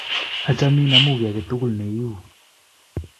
Achamin amu kiy ake tukul ne iu.